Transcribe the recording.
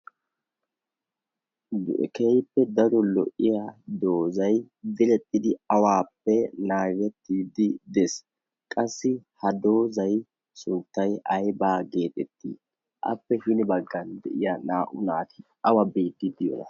keehippe daro lo'iya doozai dilexxidi awaappe naagettiddi dees qassi ha doozay suttay aybaa geexettii appe hini baggan de'iya naa'u naatii awa biidtiiddi yoona?